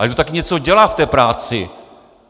A kdo taky něco dělá v té práci!